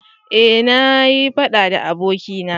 eh na yi faɗa da abokina